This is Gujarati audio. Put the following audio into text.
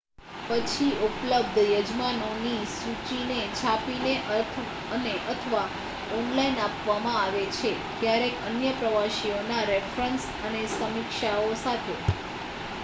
પછી ઉપલબ્ધ યજમાનોની સૂચિને છાપીને અને/અથવા ઑનલાઇન આપવામાં આવે છે ક્યારેક અન્ય પ્રવાસીઓના રેફરન્સ અને સમીક્ષાઓ સાથે